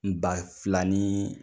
N ba fila ni